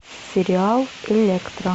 сериал электра